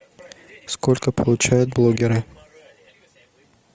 сколько получают блогеры